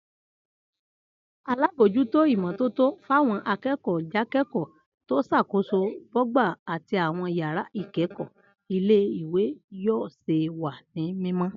Alábòójútó ìmó̩tótó fáwo̩n aké̩kò̩ó̩ jáké̩kò̩ó̩ tó s̩àkóso bọ́gbà àtí àwo̩n yàrá ìké̩kò̩ó̩ ilé ìwé yóò̩ s̩e wà ní mímó̩